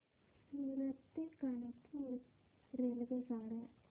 सूरत ते कानपुर रेल्वेगाड्या